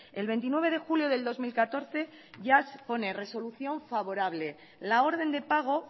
el veintinueve de julio del dos mil catorce ya pone resolución favorable la orden de pago